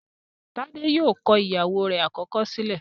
Tade yóò kọ ìyàwó rẹ̀ àkọ́kọ́ sílẹ̀